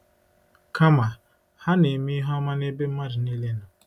Kama, ha “na-eme ihe ọma n’ebe mmadụ niile nọ.